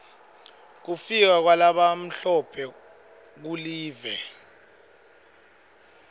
kufika kwalabamhlophe kulive